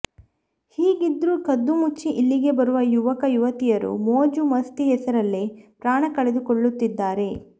ಹೀಗಿದ್ರು ಕದ್ದು ಮುಚ್ಚಿ ಇಲ್ಲಿಗೆ ಬರುವ ಯುವಕ ಯುವತಿಯರು ಮೋಜು ಮಸ್ತಿ ಹೆಸರಲ್ಲೇ ಪ್ರಾಣ ಕಳೆದುಕೊಳ್ಳುತ್ತಿದ್ದಾರೆ